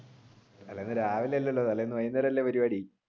രാവിലെ അല്ലല്ലോ വൈകുന്നേരം അല്ലെ പരിപാടി?